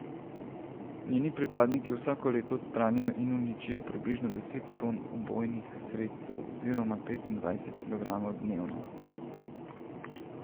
Njeni pripadniki vsako leto odstranijo in uničijo približno deset ton ubojnih sredstev oziroma petindvajset kilogramov dnevno.